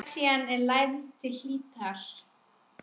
Lexían er lærð til hlítar.